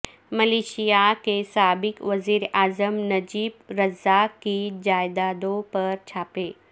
Malaysia کے سابق وزیراعظم نجیب رزاق کی جائیدادوں پر چھاپے